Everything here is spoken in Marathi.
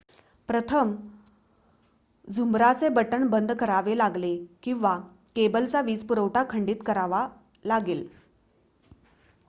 प्रथम झुंबराचे बटण बंद करावे लागले किंवा केबलचा वीजपुरवठा खंडीत करावा लागेल